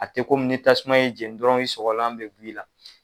A tɛ kɔmi ni tasuma ye jɛnni dɔrɔn i sɔgɔlan bɛ bɔ i la.